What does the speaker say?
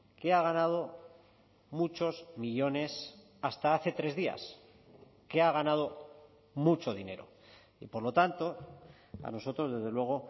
que ha ganado muchos millónes hasta hace tres días que ha ganado mucho dinero y por lo tanto a nosotros desde luego